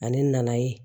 Ani nana ye